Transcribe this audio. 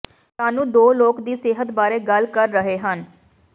ਸਾਨੂੰ ਦੋ ਲੋਕ ਦੀ ਸਿਹਤ ਬਾਰੇ ਗੱਲ ਕਰ ਰਹੇ ਹਨ